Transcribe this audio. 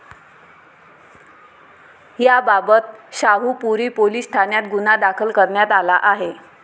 याबाबत शाहुपुरी पोलीस ठाण्यात गुन्हा दाखल करण्यात आला आहे.